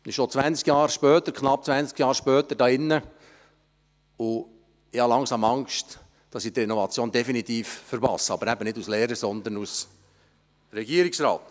» Wir befinden uns jetzt knapp zwanzig Jahre später hier drinnen, und ich habe langsam Angst, die Renovation definitiv zu verpassen, nicht als Lehrer, sondern als Regierungsrat!